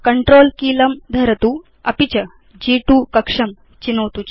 CTRL कीलं धरतु अपि च ग्2 कक्षं चिनोतु